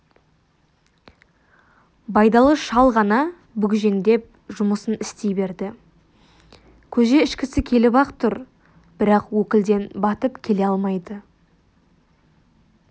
байдалы шал ғана бүгжеңдеп жұмысын істей берді көже ішкісі келіп-ақ тұр бірақ өкілден батып келе алмайды